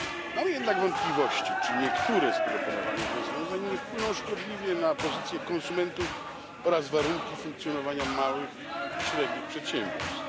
Mamy jednak wątpliwości, czy niektóre z proponowanych rozwiązań nie wpłyną szkodliwie na pozycję konsumentów oraz warunki funkcjonowania małych i średnich przedsiębiorstw.